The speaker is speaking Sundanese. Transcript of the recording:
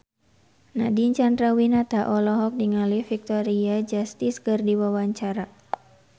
Nadine Chandrawinata olohok ningali Victoria Justice keur diwawancara